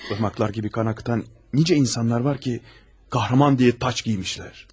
Parmaklar gibi kan akıtan nice insanlar var ki, kahraman diye taç giymişler.